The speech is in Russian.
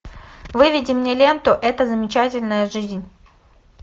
выведи мне ленту эта замечательная жизнь